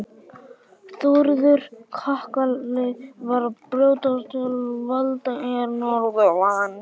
Þórður kakali var að brjótast til valda hér norðanlands.